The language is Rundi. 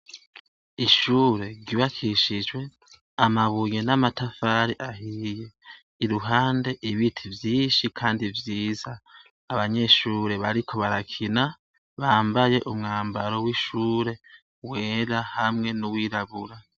Ishure ryubakishijwe, amabuye n'amatafari ahiye, iruhande ibiti vyinshi kandi vyiza, abanyeshure bariko barakina bambaye umwambaro wera hamwe n'uwirabura.